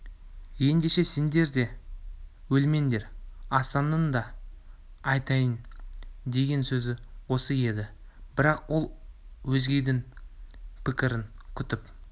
ендеше сендер де өлмеңдер асанның да айтайын деген сөзі осы еді бірақ ол өзгенің пікірін күтіп